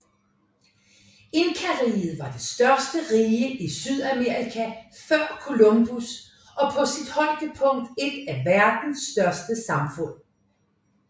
Inkariget var det største rige i Sydamerika før Columbus og på sit højdepunkt et af verdens største samfund